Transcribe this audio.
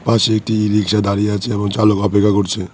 পাশে একটি রিক্সা দাঁড়িয়ে আছে এবং চালক অপেক্ষা করছে।